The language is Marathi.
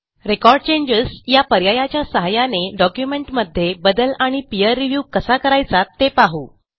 रेकॉर्ड चेंजेस या पर्यायाच्या सहाय्याने डॉक्युमेंटमध्ये बदल आणि पीर रिव्ह्यू कसा करायचा ते पाहू